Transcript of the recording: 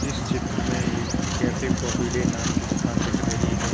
इस चित्र में एक कैफ़े काफ़ी डे नाम की दुकान दिख रही है।